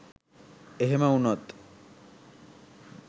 එහෙම වුණොත්